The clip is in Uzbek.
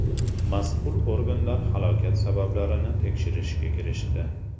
Mas’ul organlar halokat sabablarini tekshirishga kirishdi.